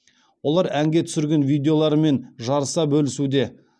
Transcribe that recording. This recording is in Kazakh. олар әнге түсірген видеоларымен жарыса бөлісуде